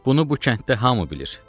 Bunu bu kənddə hamı bilir.